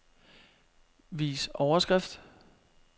Vis overskrift.